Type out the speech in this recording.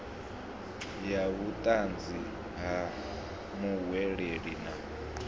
ya vhutanzi ha muhweleli na